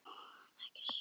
Ekki sem lökust býti það.